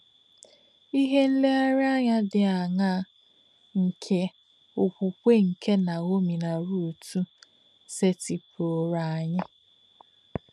Ìhè nlèrèànyà dì àṅáà nke òkwùkwè kè Naomi nà Rút sètìpùrùrò ányị̀?